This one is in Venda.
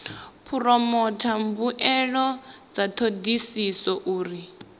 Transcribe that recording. phoromotha mbuelo dza thodisiso uri